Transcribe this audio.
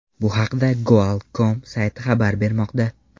Bu haqda Goal.com sayti xabar bermoqda.